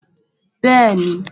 Bẹ́ẹ̀ni